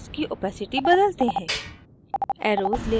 अब arrows की opacity बदलते हैं